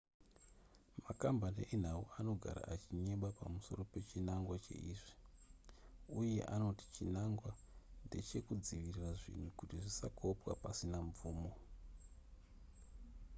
makambani enhau anogara achinyeba pamusoro pechinangwa cheizvi uye anoti chinangwa ndechekudzivirira zvinhu kuti zvisakopwa pasina mvumo